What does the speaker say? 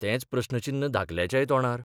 तेंच प्रस्नचिन्न धाकल्याच्याय तोंडार.